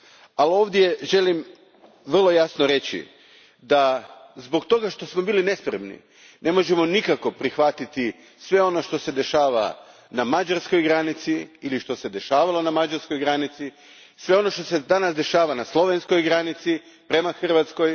Ali, ovdje želim vrlo jasno reći da zbog toga što smo bili nespremni ne možemo nikako prihvatiti sve ono što se dešava na mađarskoj granici ili što se dešavalo na mađarskoj granici, sve ono što se danas dešava na slovenskoj granici prema Hrvatskoj.